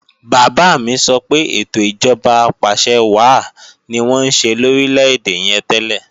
Bàbá mi sọ pé ètò ìjọba apàṣẹwàá ni wọ́n ń ṣe lórílè-èdè yẹn tẹ́lẹ̀